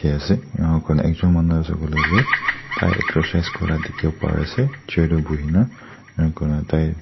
inyaaa kurna ekjon manu asey kuileh du tai excercise kura dikhiwo pari asey chair deh buhina inya kurna tai--